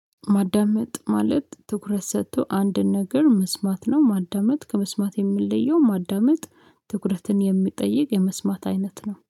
ማዳመጥ ማለት ትኩረት ሰጥቶ አንድን ነገር መስማት ነው። ማዳመጥ ከመስማት የሚለየው ማዳመጥ ትኩረትን የሚጠይቅ የመስማት አይነት ነው